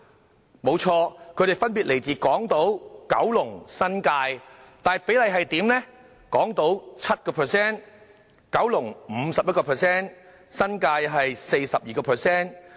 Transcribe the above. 他們的確分別來自港島、九龍和新界，但比例分別是 7%、51% 和 42%。